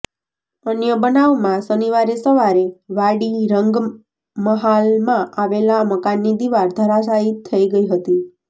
અન્ય બનાવમાં શનિવારે સવારે વાડી રંગમહાલમાં આવેલા મકાનની દીવાલ ધરાશાયી થઇ ગઇ હતી